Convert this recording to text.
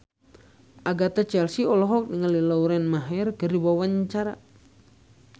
Agatha Chelsea olohok ningali Lauren Maher keur diwawancara